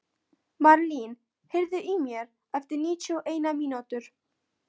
Marlín, heyrðu í mér eftir níutíu og eina mínútur.